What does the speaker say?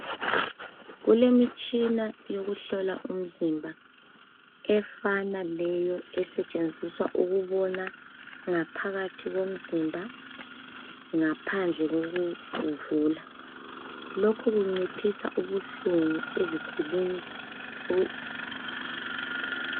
Kulemitshina yokuhlola umzimba efana leyo esetshenziswa ukubona ngaphakathi komzimba ngaphandle kokuwuvula. Lokhu kunciphisa ubuhlungu eziguleni o